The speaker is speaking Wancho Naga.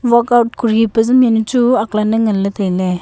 workout kori pajamnjawnu chu ak lan ne ngan ley tai ley.